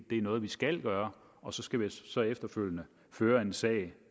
noget vi skal gøre og så skal vi efterfølgende føre en sag